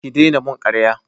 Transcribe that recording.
Ki dena mun karya!